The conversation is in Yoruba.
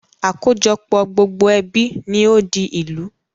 Àkójọpọ̀ gbogbo ẹbí ni ó di ìlú